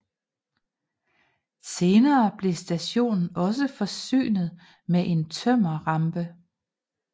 Senere blev stationen også forsynet med en tømmerrampe